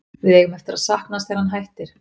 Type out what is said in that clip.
Við eigum eftir að sakna hans þegar hann hættir.